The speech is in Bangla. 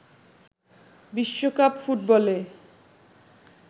বিশ্বকাপ ফুটবলে